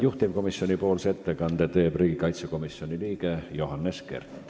Juhtivkomisjoni ettekande teeb riigikaitsekomisjoni liige Johannes Kert.